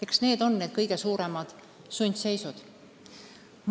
Eks need on need kõige suuremad sundseisud.